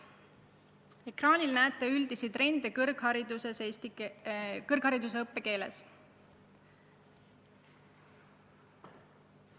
Ekraanil te näete üldisi trende kõrghariduse õppekeeles.